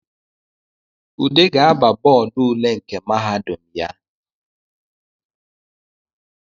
Ude ga-aba bọdụ ule nke mahadum ya